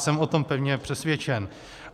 Jsem o tom pevně přesvědčen.